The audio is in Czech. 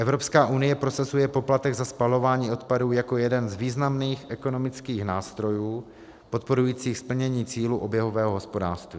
Evropská unie prosazuje poplatek za spalování odpadů jako jeden z významných ekonomických nástrojů podporujících splnění cílů oběhového hospodářství.